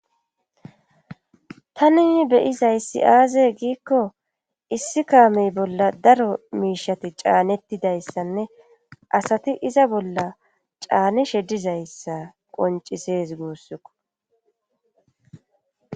tani beyizayssi aaze giikko issi kaamey bolla daro miishati caanettidayssanne asati iza bolla caani sheddizayssa qoncisees goossukko